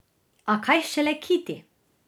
A kaj šele kiti?